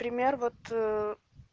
пример вот